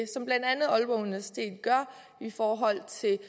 som blandt andet aalborg universitet gør i forhold til